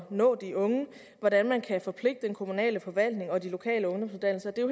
nå de unge hvordan man kan forpligte den kommunale forvaltning og de lokale ungdomsuddannelser det er